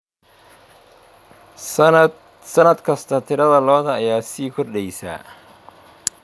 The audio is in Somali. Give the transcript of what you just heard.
Sannad kasta, tirada lo'da ayaa sii kordheysa.